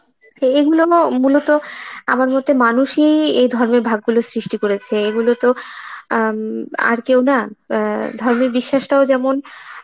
এইগুলো না মূলত আমার মতে মানুষই এই ধর্মের ভাগ গুলো সৃষ্টি করেছে, এইগুলো তো আ উম আর কেউ না, অ্যাঁ ধর্মের বিশ্বাসটাও যেমন